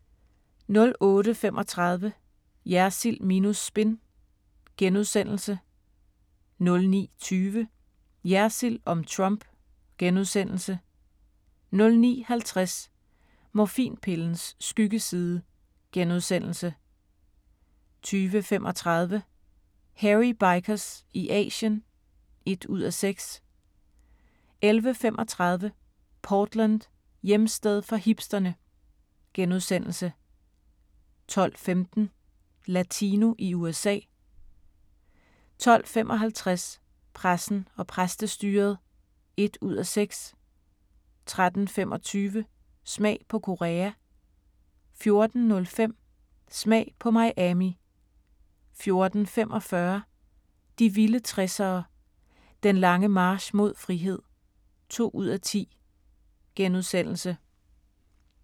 08:35: Jersild minus spin * 09:20: Jersild om Trump * 09:50: Morfinpillens skyggeside * 10:35: Hairy Bikers i Asien (1:6) 11:35: Portland: Hjemsted for hipsterne * 12:15: Latino i USA 12:55: Pressen og præstestyret (1:6) 13:25: Smag på Korea 14:05: Smag på Miami 14:45: De vilde 60'ere: Den lange march mod frihed (2:10)*